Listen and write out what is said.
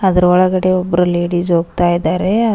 ಆದ್ರ ಒಳಗಡೆ ಒಬ್ರು ಲೇಡೀಸ್ ಹೋಗ್ತಾ ಇದ್ದಾರೆ.